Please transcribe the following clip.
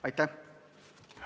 Aitäh!